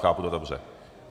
Chápu to dobře?